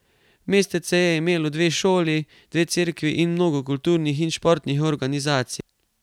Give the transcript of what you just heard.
Mestece je imelo dve šoli, dve cerkvi in mnogo kulturnih in športnih organizacij.